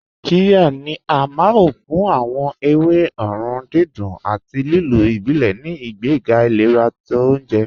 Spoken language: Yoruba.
Qíryà ni à máọ̀ fún awọn èwé òórùn dídùn àti lílò ìbílẹ̀ ní ìgbègà ìlẹ̀rà tó ọ̀unjẹ.